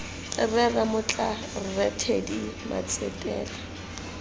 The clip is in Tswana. rre ramotla rre teddy matsetela